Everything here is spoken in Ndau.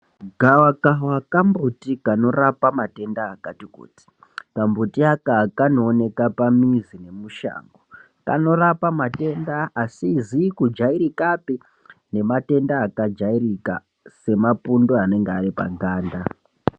Gavakava kambuti kanorapa matenda akati kuti kambuti aka kanooneka pamizi nemushango kanorapa matenda asizi kujairikapi nematenda akajairika semapundu anenge ari paganda.